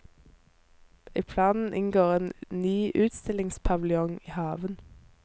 I planen inngår en ny ustillingspaviljong i haven.